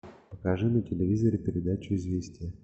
покажи на телевизоре передачу известия